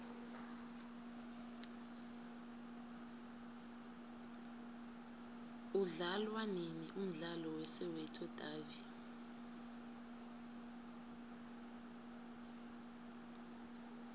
udlalwanini umdlalo we soweto davi